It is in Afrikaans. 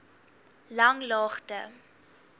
langlaagte